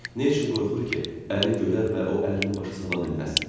Nə üçün qorxur ki, əri görər və o ərini başa sala bilməz?